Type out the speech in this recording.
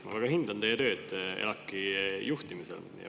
Ma väga hindan teie tööd ELAK‑i juhtimisel.